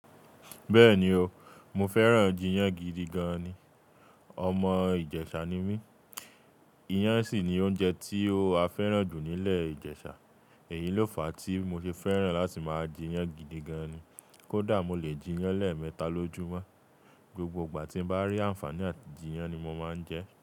Bẹ́ẹ̀ni o, mo fẹ́ràn jiyán gidi gan ni. Ọmọ Ijesa ni mí, iyán sì ni oúnjẹ tí a fẹ́ràn jù nílẹ̀ Ijesa. Èyí ló fa tí mo ṣe fẹ́ràn láti máa jiyán gidi gan ni. Kódà mo lè jiyán lẹ́ẹ̀mẹta lójúmọ́. Gbogbo ìgbà tí mo bá rí ànfàní àti jiyán ni mo máa ń jẹ ẹ́.